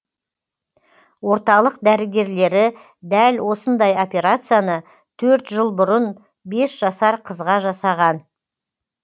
орталық дәрігерлері дәл осындай операцияны төрт жыл бұрын бес жасар қызға жасаған